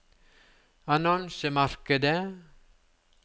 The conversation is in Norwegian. annonsemarkedet